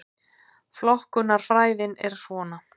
Flokkunarfræðin er svona: